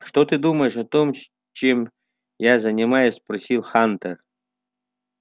что ты думаешь о том чем я занимаюсь спросил хантер